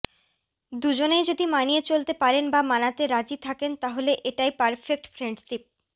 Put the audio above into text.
দুজনেই যদি মানিয়ে চলতে পারেন বা মানাতে রাজি থাকেন তাহলে এটাই পারফেক্ট ফ্রেন্ডশিপ